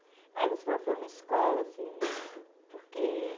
Aí você falou, foi uma escola, assim... Por quê?